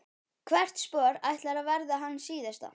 Hvert spor ætlar að verða hans síðasta.